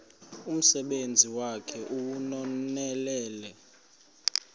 umsebenzi wakhe ewunonelele